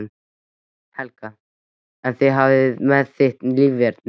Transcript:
Helga: En hvað með þitt líferni?